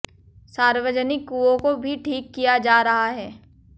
सार्वजनिक कुंओं को भी ठीक किया जा रहा है